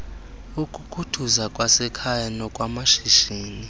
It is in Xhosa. ukukhuthuza kwasekhaya nokwamashishini